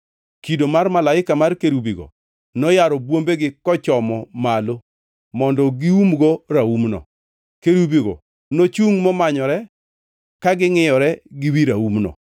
Kido mar malaika mar kerubigo noyaro bwombegi kochomo malo mondo giumgo raumno. Kerubigo nochungʼ momanyore ka ngʼiyore gi wi raumno.